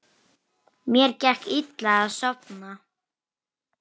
Mér gekk illa að sofna.